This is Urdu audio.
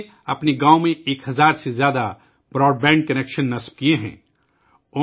انہوں نے اپنے گاؤں میں ایک ہزار سے زیادہ براڈ بینڈ کنکشن قائم کئے ہیں